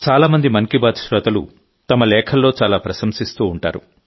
చాలా మంది మన్ కీ బాత్ శ్రోతలు తమ లేఖల్లో చాలా ప్రశంసిస్తూ ఉంటారు